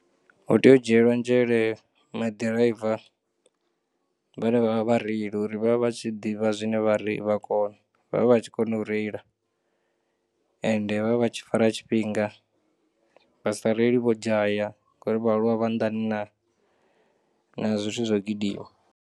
Hoteya u dzhiyelwa nzhele ma ḓiraiva vhane vha vha vhareili uri vha vhe vha tshi ḓivha zwine vhare vhakona vha vhe vha tshikona u reila, ende vha vhe vha tshifara tshifhinga, vha sa reili vho dzhaya ngori vha nḓani na na zwithu zwo gidima.